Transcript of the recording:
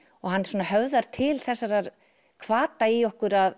og hann svona höfðar til þessara hvata í okkur að